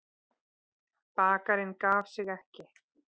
Bakarinn gaf sig ekki.